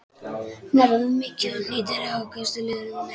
Hnerrar mikið og hrýtur ákaflega um nætur.